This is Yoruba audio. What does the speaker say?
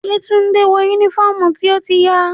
Yetunde wọ unifọmú ti o ti ya.